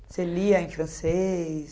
Você lia em francês?